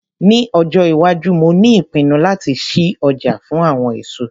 Ní ọjọ́ - iwájú mo ní ìpinnu láti lọ sí ọjà fún àwọn èso